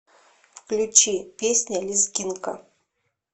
включи песня лезгинка